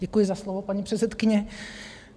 Děkuji za slovo, paní předsedkyně.